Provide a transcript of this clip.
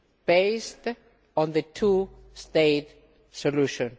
based on the two state solution.